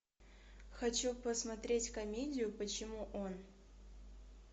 хочу посмотреть комедию почему он